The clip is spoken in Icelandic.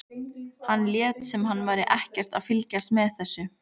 Hann lét sem hann væri ekkert að fylgjast með þessu.